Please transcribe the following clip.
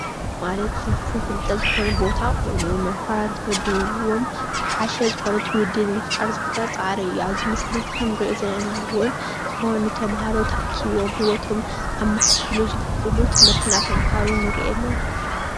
ፍልፍል ፍልጠት ምምህራን ተመዲብዎም ዝሓሸ ዝኾነ ትዉልዲ ንምፍጣር ዝግበር ፃዕሪ ኣብዚ ምስሊ እዚ ከም ንሪኦ ዘለና እዉን ዝኾኑ ተምህሮ ተኣኪቦም ሂወቶም ከመሓይሽሉ ዝኽእሉ ትምርቲ እንዳተምህሩ ንሪኢ ኣለና።